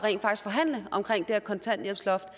kontanthjælpsloftet